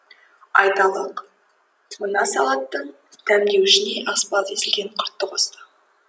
айталық мына салаттың дәмдеуішіне аспаз езілген құртты қосты